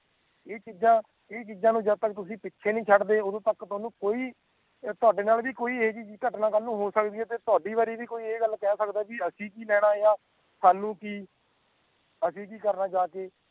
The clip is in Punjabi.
ਇਹ ਚੀਜਾਂ ਇਹ ਚੀਜਾਂ ਨੂੰ ਜਾਦ ਤੱਕ ਤੁਸੀ ਪਿੱਛੇ ਨਹੀਂ ਛੱਡ ਦੇ ਓਦੋ ਤੱਕ ਕੋਈ ਤਾਡੇ ਨਾਲ ਵੀ ਕੋਈ ਇਹ ਜੀ ਘਟਣਾ ਕੱਲ ਨੂੰ ਹੋ ਸਕਦੀ ਹੈ ਤਹਾਡੀ ਵਾਰੀ ਵੀ ਕੋਈ ਇਹ ਗੱਲ ਕੇ ਸਕਦਾ ਅਸੀਂ ਕਿ ਲੈਣਾ ਯਾ ਸਾਨੂੰ ਕਿ ਅਸੀਂ ਕਿ ਕਰਨਾ ਜਾਕੇ